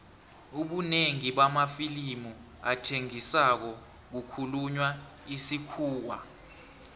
ubunengi bamafilimu athengisako kukhulunywa isikhuwa